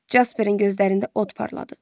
Jasperin gözlərində od parladı.